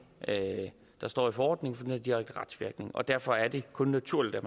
der står i forordningen for den har direkte retsvirkning og derfor er det kun naturligt at